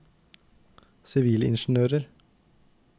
sivilingeniører